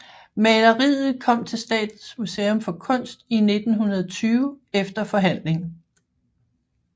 Maleriet kom til Statens Museum for Kunst i 1920 efter forhandling